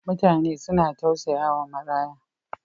Mutane na tausayawa maraya.